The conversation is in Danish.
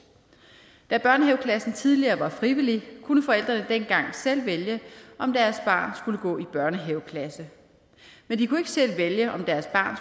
da børnehaveklassen tidligere var frivillig kunne forældrene dengang selv vælge om deres barn skulle gå i børnehaveklasse men de kunne ikke selv vælge om deres barn